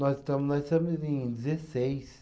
Nós estamos, nós somos em dezesseis.